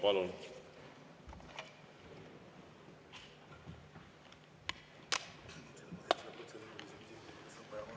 Palun!